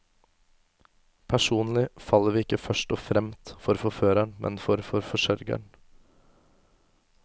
Personlig faller vi ikke først og fremt for forføreren, men for forsørgeren.